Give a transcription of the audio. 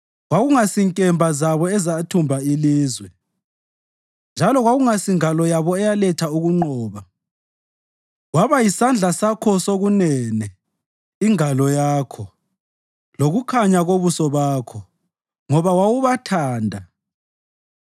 Kwakungasinkemba zabo ezathumba ilizwe, njalo kakusingalo yabo eyaletha ukunqoba; kwaba yisandla sakho sokunene, ingalo yakho, lokukhanya kobuso bakho, ngoba wawubathanda.